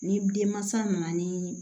Ni denmansa nana ni